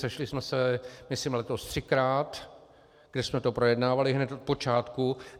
Sešli jsme se myslím letos třikrát, kde jsme to projednávali hned v počátku.